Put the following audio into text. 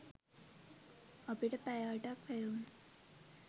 අපිට පැය අටක් වැය වුණා